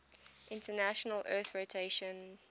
international earth rotation